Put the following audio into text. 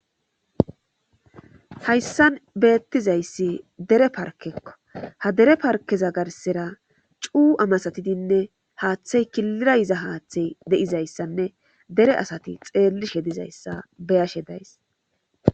hayssan beettizayssi dere parkekko ha dere parkeza garsera cuu'a masatidinne haaththey kilirayiza haaththey de7izayssanne dere asati xeellishe dizayssa beyashe days